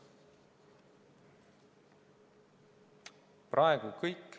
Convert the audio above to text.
Praegu kõik.